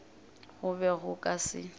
go be go ka se